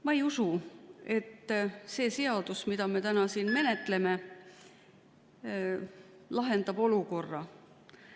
Ma ei usu, et see seaduseelnõu, mida me täna siin menetleme, lahendab olukorra.